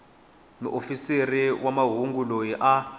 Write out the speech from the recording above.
muofisiri wa mahungu loyi a